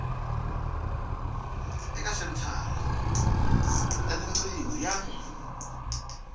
eka senthara ya tiqingho ya